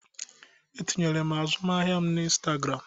E tinyere m azụmahịa m na Instagram.